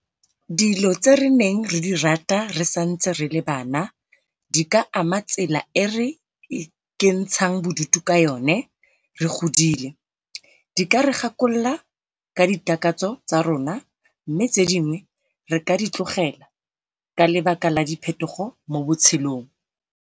Dilo tse re neng re di rata re santse re le bana di ka ama tsela e re ikentshang bodutu ka yone re godile. Di ka re gakolola ka ditakatso tsa rona, mme tse dingwe re ka di tlogela ka baka la diphetogo mo botshelong.